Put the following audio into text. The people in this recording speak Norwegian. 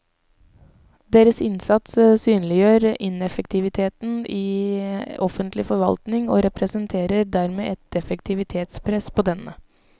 Deres innsats synliggjør ineffektiviteten i offentlig forvaltning og representerer dermed et effektivitetspress på denne.